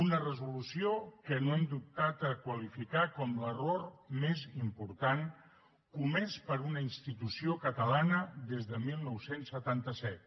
una resolució que no hem dubtat a qualificar com l’error més important comès per una institució catalana des de dinou setanta set